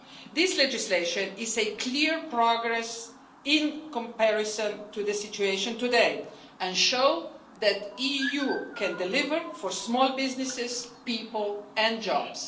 This legislation represents clear progress in comparison to the situation today and shows that the EU can deliver for small businesses, people and jobs.